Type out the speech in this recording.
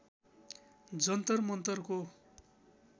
जन्तर मन्तरको